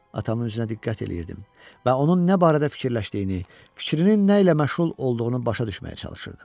Atamın üzünə diqqət eləyirdim və onun nə barədə fikirləşdiyini, fikrinin nə ilə məşğul olduğunu başa düşməyə çalışırdım.